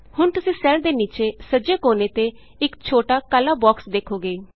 ਹੁਣ ਤੁਸੀਂ ਸੈੱਲ ਦੇ ਨੀਚੇ ਸੱਜੇ ਕੋਨੇ ਤੇ ਇਕ ਛੋਟਾ ਕਾਲਾ ਬੋਕਸ ਦੇਖੋਗੇ